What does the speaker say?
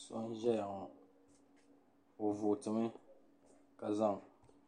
So n-ʒeya ŋɔ o vooti mi ka zaŋ